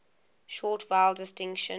short vowel distinction